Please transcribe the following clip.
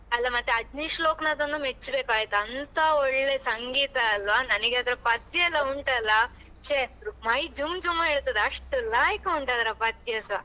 ಅಲ್ಲ ಮತ್ತೆ ಅಜನೀಶ್‌ ಲೋಕನಾಥ್‌ ಅನ್ನ ಮೆಚ್ಬೇಕು ಆಯ್ತಾ ಅಂತ ಒಳ್ಳೆ ಸಂಗೀತ ಅಲ್ವಾ ನನಗೆ ಅದರ ಪದ್ಯ ಎಲ್ಲಾ ಒಂಟಾಲ್ಲ ಶ್ಯೆ ಮೈ ಜುಮ್ ಜುಮ್ ಹೇಳ್ತದೆ ಅಷ್ಟು ಲಾಯಕ್ಕುಂಟು ಅದರ ಪದ್ಯ ಸಾ.